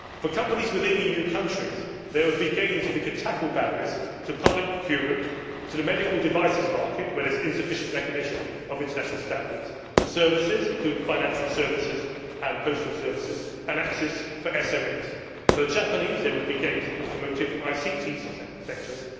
For companies within EU countries, there would be gains if we could tackle barriers to public procurement, to the medical devices market where there is insufficient recognition of international standards, to services including financial services and postal services, and access for SMEs. For the Japanese, there would be gains in the automotive and ICT sectors.